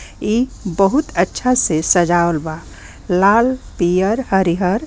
इ बहुत अच्छा से सजावल बा लाल पियर हरिहर --